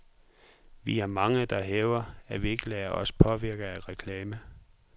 Vi er mange, der hævder, at vi ikke lader os påvirke af reklame.